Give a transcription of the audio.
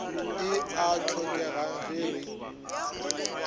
e a hlokega ge re